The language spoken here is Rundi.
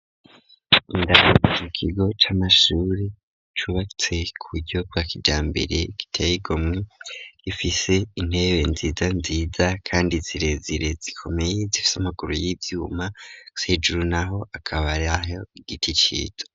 Indani mu kigo c'amashure cubatse kuburyo bwa kijambere giteyigomwe gifise intebe nziza nziza kandi zirezire zikomeye zifise amaguru y'ivyuma hejuru naho akaba ari aho igiti gito.